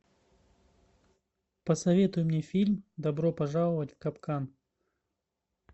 посоветуй мне фильм добро пожаловать в капкан